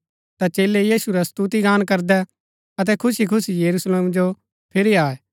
ता चेलै यीशु रा स्तुतिगान करदै अतै खुशीखुशी यरूशलेम जो फिरी आये